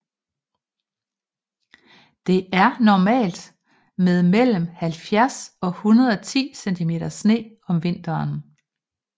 Det er normalt med mellem 70 og 110 cm sne om vinteren